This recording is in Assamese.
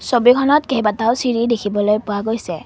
ছবিখনত কেইবাটাও চিৰি দেখিবলৈ পোৱা গৈছে।